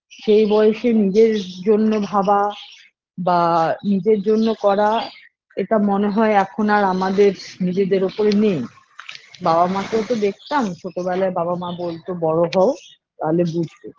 সে বয়সে নিজের জন্য ভাবা বা নিজের জন্য করা এটা মনে হয় এখন আর আমাদের নিজেদের ওপরে নেই বাবা মাকেও তো দেখতাম ছোটো বেলায় বাবা মা বোলতো বড়ো হও তালে বুঝবে